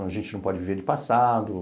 A gente não pode viver de passado.